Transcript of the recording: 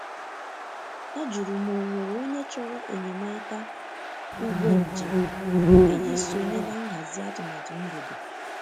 Ọ jụrụ ma onwere onye chọrọ enyemaka ugbo njem iji sonye na nhazi atụmatụ mgbede.